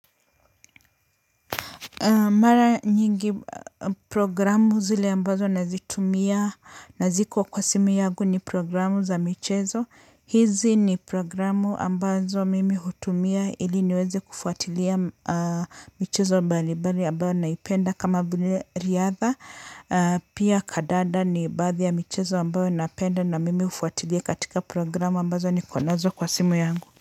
Mara nyingi programu zile ambazo nazitumia na ziko kwa simu yagu ni programu za michezo. Hizi ni programu ambazo mimi hutumia ili niweze kufuatilia michezo balibari ambayo naipenda kama vile riadha. Pia kadada ni baathi ya michezo ambayo napenda na mimi ufuatilia katika programu ambazo nikonazo kwa simu yangu.